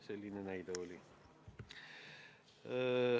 Selline näide oli.